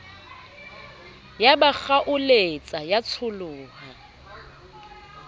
ya ba kgaoletsa ya tsholoha